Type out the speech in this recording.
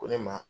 Ko ne ma